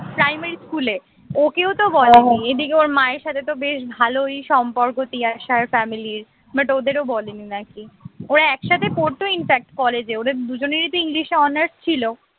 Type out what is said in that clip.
primary স্কুলে ওকেও তো বলেনি এদিকে ওর মায়ের সাথে তো বেশ ভালোই সম্পর্ক তিয়াসার family র but ওদের বলেনি নাকি ওরা একসাথে পড়ত in fact কলেজে ওদের দুজনেরই english এ honours ছিল